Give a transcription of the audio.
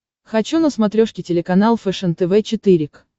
хочу на смотрешке телеканал фэшен тв четыре к